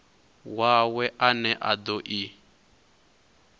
wawe ane a do i